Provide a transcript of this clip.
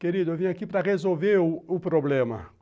Querido, eu vim aqui para resolver o o problema.